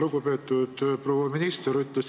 Lugupeetud proua minister!